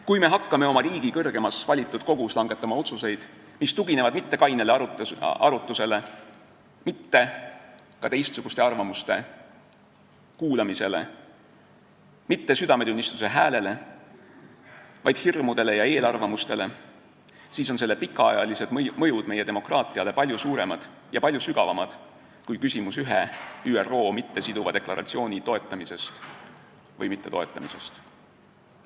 Kui me hakkame oma riigi kõrgemas valitud kogus langetama otsuseid, mis ei tugine mitte kainele arutlusele, mitte ka teistsuguste arvamuste kuulamisele, mitte südametunnistuse häälele, vaid hirmudele ja eelarvamustele, siis on selle pikaajaline mõju meie demokraatiale palju suurem ja palju sügavam kui ühe ÜRO mittesiduva deklaratsiooni toetamise või mittetoetamise mõju.